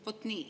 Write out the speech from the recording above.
Vot nii.